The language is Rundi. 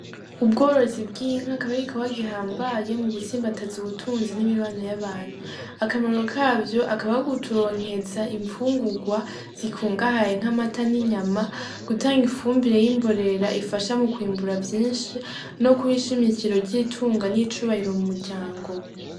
Ubworozi bw'inka akaba ari igikorwa gihambaye mu gutsimbataza ubutunzi n'imibano y'abantu akamaro kavyo akaba ari ukuturonkeza imfungurwa zikungahaye nk'amata n'inyama gutanga ifumbire y'imborera ifasha mu kwimbura vyishi no kuba ishimikiri ry'itunga n'icubahiro mu muryango.